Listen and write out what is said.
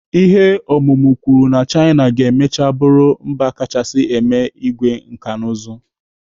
Ihe ọmụmụ kwuru na China ga-emecha bụrụ mba kachasị eme igwe nkanụzụ.